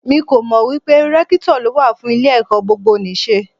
Mi kò mọ̀ wípé Rẹ́kítọ̀ ló wà fún ilé ẹ̀kọ́ gbogbo nì ṣe.